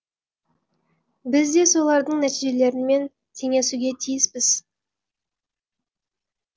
біз де солардың нәтижелерімен теңесуге тиіспіз